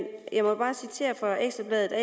jeg må bare citere ekstra bladet